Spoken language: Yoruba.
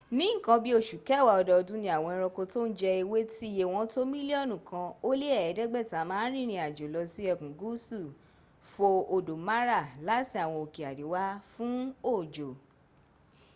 ní nǹkan bí i osù kẹwàá ọdọọdún ni àwọn ẹranko tó ń jẹ ewé tíye wọ́n tó mílíọ̀nù kan ó lé ẹ̀ẹ́dẹ́gbẹ̀ta ma ń rìnrìn àjò lọ sí ẹkùn gúúsù fo odò mara láti àwọn òkè àríwá fún òjò